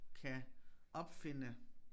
Kan opfinde